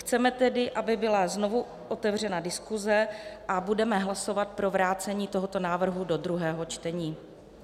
Chceme tedy, aby byla znovu otevřena diskuse, a budeme hlasovat pro vrácení tohoto návrhu do druhého čtení.